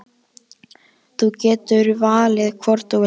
Þú getur valið hvorn þú vilt eiga.